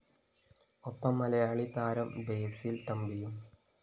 ഒപ്പം മലയാളി താരം ബസിൽ തമ്പിയും